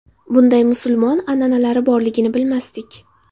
Bunday musulmon an’analari borligini bilmasdik.